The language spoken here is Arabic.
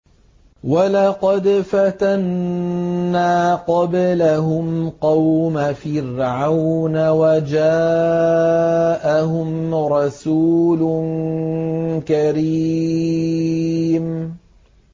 ۞ وَلَقَدْ فَتَنَّا قَبْلَهُمْ قَوْمَ فِرْعَوْنَ وَجَاءَهُمْ رَسُولٌ كَرِيمٌ